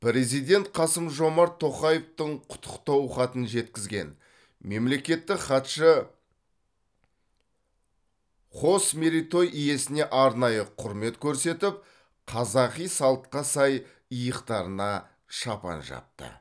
президент қасым жомарт тоқаевтың құттықтау хатын жеткізген мемлекеттік хатшы қос мерейтой иесіне арнайы құрмет көрсетіп қазақы салтқа сай иықтарына шапан жапты